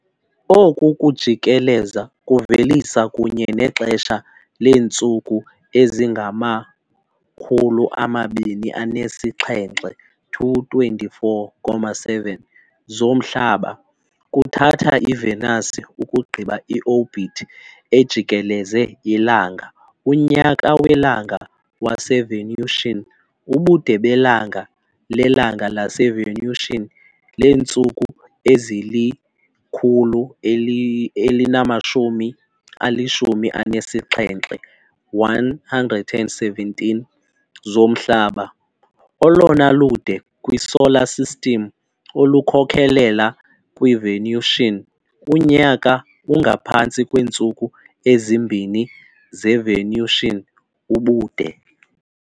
Oku kujikeleza kuvelisa, kunye nexesha leentsuku ezingama-224.7 zomhlaba kuthatha iVenus ukugqiba i-orbit ejikeleze iLanga unyaka welanga waseVenusian, ubude belanga lelanga laseVenusian leentsuku ezili-117 zomhlaba, olona lude kwiSolar System, olukhokelela kwiVenusian. unyaka ungaphantsi kweentsuku ezimbini zeVenusian ubude.